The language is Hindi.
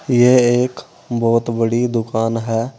यह एक बहुत बड़ी दुकान है।